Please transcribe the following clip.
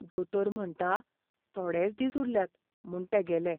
दोतोर म्हणटा, थोडेच दीस उरल्यात म्हूण तेगेले.